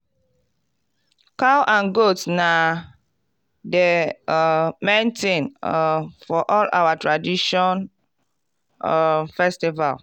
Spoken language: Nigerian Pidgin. cow and goat na the um main thing um for all our tradition um festival.